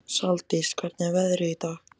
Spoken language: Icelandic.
Saldís, hvernig er veðrið í dag?